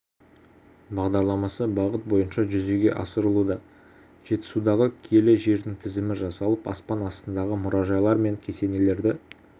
бағдарламасы бағыт бойынша жүзеге асырылуда жетісудағы киелі жердің тізімі жасалып аспан астындағы мұражайлар мен кесенелерді